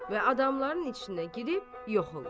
və adamların içinə girib yox olur.